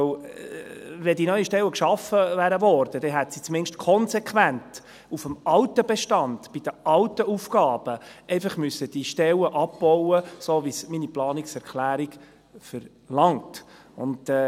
Wenn die neuen Stellen geschaffen worden wären, hätte sie zumindest konsequent die Stellen auf dem alten Bestand, bei den alten Aufgaben, abbauen müssen, so wie es meine Planungserklärung verlangt.